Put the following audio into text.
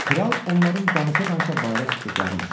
Kral onların danışa-danışa bayıra çıxdıqlarını eşitdi.